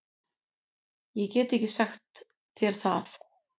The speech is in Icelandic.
Ég get ekki sagt þér það.